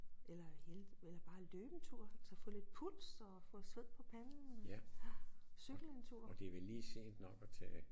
Eller eller bare løbe en tur altså få lidt puls og få sved på panden cykle en tur